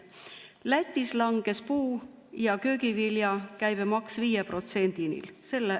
Lätis langes puu- ja köögivilja käibemaks 5%‑ni.